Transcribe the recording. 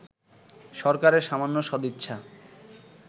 সরকারের সামান্য সদিচ্ছা